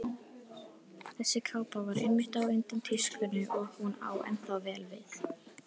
Þessi kápa var einmitt á undan tískunni og hún á ennþá vel við.